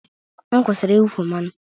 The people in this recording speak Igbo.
M kwụsịrị ịwụfu mmanụ